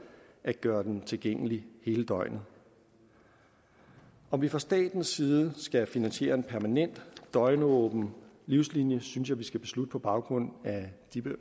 at gøre den tilgængelig hele døgnet om vi fra statens side skal finansiere en permanent døgnåben livslinien synes jeg vi skal beslutte på baggrund af de